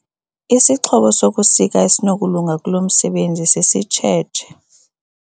Isixhobo sokusika esinokulunga kulo msebenzi sisitshetshe.